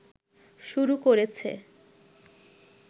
শুরু করেছে